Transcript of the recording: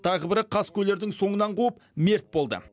тағы бірі қаскөйлердің соңынан қуып мерт болды